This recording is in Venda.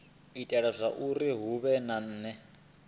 itela zwauri hu vhe na